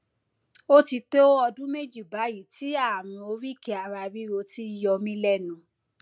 ó ti tó ọdún méjì báyìí tí ààrùn oríkèéararíro ti ń yọ mí lẹnu